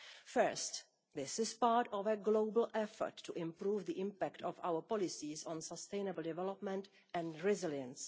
Firstly, this is part of a global effort to improve the impact of our policies on sustainable development and resilience.